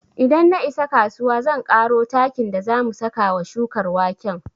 Idan na isa kasuwa zan ƙaro takin da za mu saka wa shukar waken